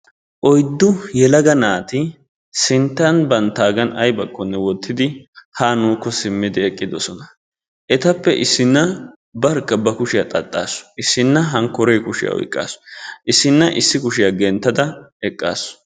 Oyddu yelaga naati sinttan banttaggan aybakko wottidi haa nuukko simmidi eqqidosona. Etappe issinna barkka ba kushshiyaa xaxxassu, issina hankkore kushiya oyqqaasu, issinna issi kushiyaa genttada eqqasu.